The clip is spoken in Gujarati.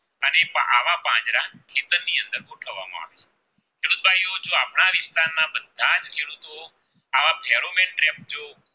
આવા ધેરું મેક ટ્રેક જોવો